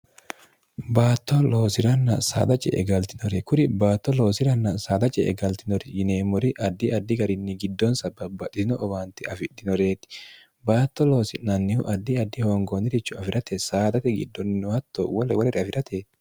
baatto loosiranna saada ce e galtinore kuri baatto loosiranna saada ce e galtinori yineemmori addi addi garinni giddoonsabbabbadhitno owaanti afidhinoreeti baatto loosi'nannihu addi adi hoongoonirichu afi'rate saadate giddonnino atto wole wolere afi'rate